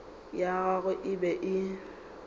ya gagwe e be e